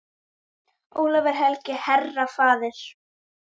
Ólafur helgi, herra, faðir.